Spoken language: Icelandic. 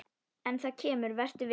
En það kemur, vertu viss.